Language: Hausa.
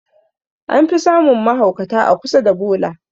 An fi samun mahaukata a kusa da bola